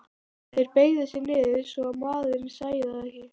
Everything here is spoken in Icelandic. Þeir beygðu sig niður svo að maðurinn sæi þá ekki.